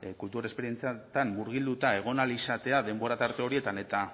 kultur esperientzietan murgilduta egon ahal izatea denbora tarte horietan eta